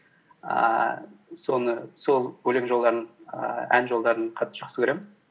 ііі сол өлең жолдарын ііі ән жолдарын қатты жақсы көремін